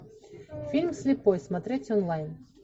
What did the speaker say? фильм слепой смотреть онлайн